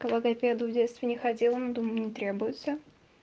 к логопеду в детстве не ходила но думаю не требуется